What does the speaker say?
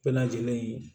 Bɛɛ lajɛlen